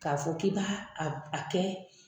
K'a fɔ k'i b'a a a kɛ